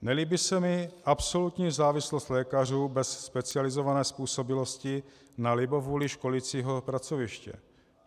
Nelíbí se mi absolutní závislost lékařů bez specializované způsobilosti na libovůli školicího pracoviště.